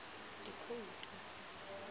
dikhoutu